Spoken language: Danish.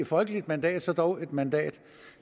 folkeligt mandat så dog et mandat